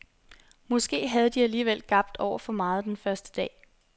Måske havde de alligevel gabt over for meget den første dag.